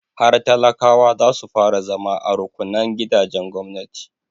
Har talakawa za su fara zama a rukunnan gidajen gwamnati.